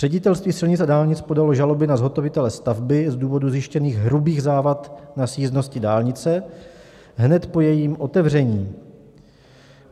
Ředitelství silnic a dálnic podalo žalobu na zhotovitele stavby z důvodu zjištěných hrubých závad na sjízdnosti dálnice hned po jejím otevření.